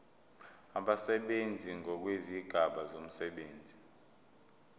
abasebenzi ngokwezigaba zomsebenzi